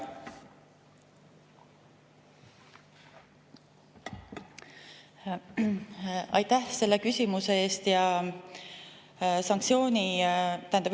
Aitäh selle küsimuse eest!